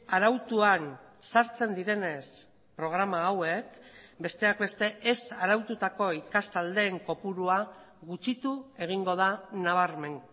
arautuan sartzen direnez programa hauek besteak beste ez araututako ikastaldeen kopurua gutxitu egingo da nabarmen